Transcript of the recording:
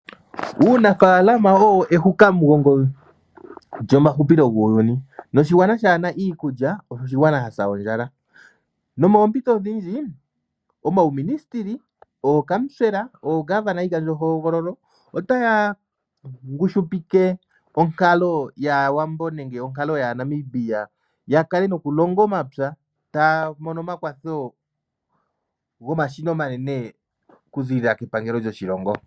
Uunafaalama owo ehukamugongo lyomahupilo guuyuni. Noshigwana kaashi na iikulya, osho oshigwana sha sa ondjala. Nomoompito odhindji omauministili, ookamusela, oongoloneya yiikandjohogololo otaya ngushupike onkalo yAawambo nenge onkalo yAanambia ya kale nokulonga omapya taya mono omakwatho gomashina omanene okuziilila kepangelo lyoshilongo.